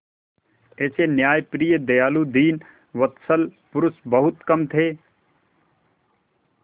ऐसे न्यायप्रिय दयालु दीनवत्सल पुरुष बहुत कम थे